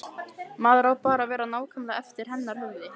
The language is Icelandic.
Maður á bara að vera nákvæmlega eftir hennar höfði.